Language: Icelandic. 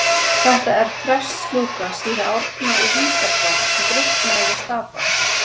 Þetta er prestslúka síra Árna í Hítardal sem drukknaði við Stapann.